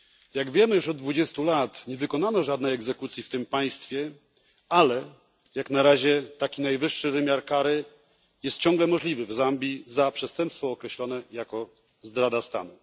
Jak wiemy, już od 20 lat nie wykonano żadnej egzekucji w tym państwie, ale jak na razie taki najwyższy wymiar kary jest w Zambii ciągle możliwy za przestępstwo określone jako zdrada stanu.